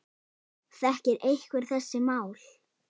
Þekkir einhver þessi mál?